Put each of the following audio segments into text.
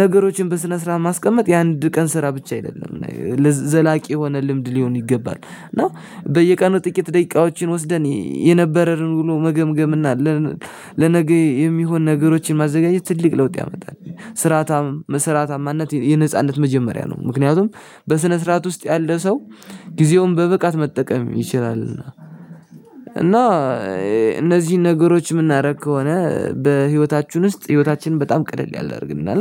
ነገሮችን በስነ ስርዓት ማስቀመጥ የአንድ ቀን ስራ ብቻ አይደለም ለዘላቂ የሆነ ልምድ ሊሆን ይገባል። እና በየቀኑ ጥቂት ደቂቃዎችን ወስደን የነበረን ውሎ መገምገም እና ለነገ የሚሆን ነገሮችን ማዘጋጀት ትልቅ ለውጥ ያመጣል። ስርአታም ስርአታማነት የነጻነት መጀመሪያ ነው። ምክንያቱም በስነ ስርዓት ውስጥ ያለ ሰው ጊዜውን በብቃት መጠቀም ይችላልና። እና እነዚህን ነገሮች የምናደርግ ከሆነ በህይወታችን ውስጥ ህይወታችንን በጣም ቀለል ያላደርግልናን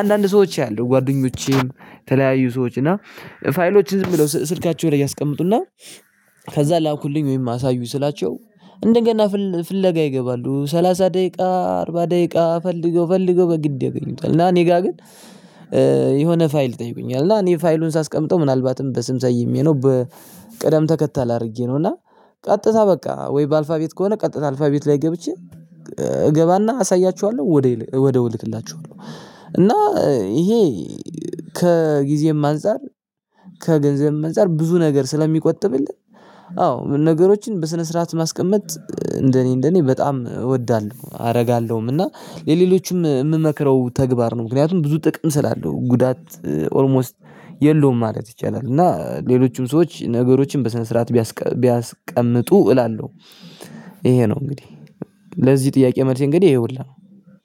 አንዳንድ ሰዎች ያሉ ጓደኞቼም የተለያዩ ሰዎች እና ፋይሎችን ዝም ብለው ስልካቸው ላይ ያስቀምጡና። ከዛ ላኩልኝ ወይም አሳዩኝ ስላቸው እንደ ገና ፍለጋ ይገባሉ ሰላሳ ደቂቃ አርባ ደቂቃ ፈልገው ፈልገው በግድ ያገኙታል። እና እኔ ጋር ግን የሆነ ፋይል ይጠይቁኛል እና እኔ ፋይሉን ሳስቀምጠው ምናልባትም በስም ሰይሜ ነው በቅደም ተከተል አድርጌ ነው። እና ቀጥታ በቃ ወይ በአልፋቤት ከሆነ ቀጥታ አልፋቤት ላይ ገብቼ እገባና አሳያቸዋለሁ ወዴው ወደው እልክላቸዋለሁ። እና ይሄ ከጊዜም አንፃር ከገንዘብም አንፃር ብዙ ነገር ስለሚቆጥብልን። አዎ ነገሮችን በስነ ስርዓት ማስቀመጥ እንደኔ እንደኔ በጣም እወዳለሁ አደርጋለሁም እና ለሌሎችም የምመክረው ተግባር ነው። ምክንያቱም ብዙ ጥቅም ስላለው ጉዳት ኦልሞስት የለውም ማለት ይቻላል። እና ሌሎችም ሰዎች ነገሮችን በሰነሰርአት ቢያስቀምጡ እላለሁ። ይሄ ነው እንግዲህ ለዚህ ጥያቄ መልሴ እንግዲህ ይሄሁላ ነው።